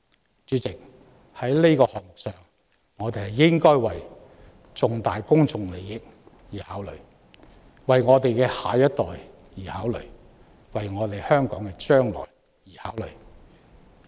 代理主席，對於"明日大嶼願景"，我們應該考慮重大公眾利益、考慮我們的下一代、考慮香港的將來。